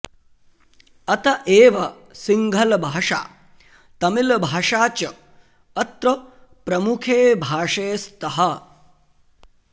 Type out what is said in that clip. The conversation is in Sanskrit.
अत एव सिंहलभाषा तमिलभाषा च अत्र प्रमुखे भाषे स्तः